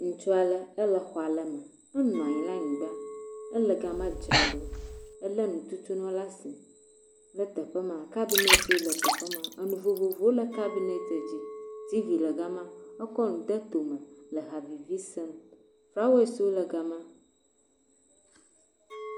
Ŋutsu ale, ele xɔ ale me, enɔ anyi le anyigba, ele gama dzra ɖo, elé nu tutu nu le asi le teƒe ma, kabinetwo le teƒe ma, enu vovovowo le cabinet dzi, tivi le gama, ekɔ nu de to me le ha vivi sem, flawɔeswo le gama.